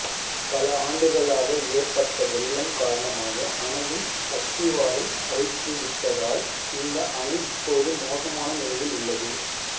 பல ஆண்டுகளாக ஏற்பட்ட வெள்ளம் காரணமாக அணையின் அஸ்திவாரம் அரித்துவிட்டதால் இந்த அணை இப்போது மோசமான நிலையில் உள்ளது